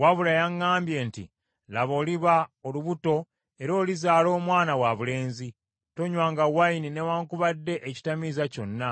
Wabula yaŋŋambye nti, ‘Laba oliba olubuto era olizaala omwana wabulenzi. Tonywanga envinnyo newaakubadde ekitamiiza kyonna,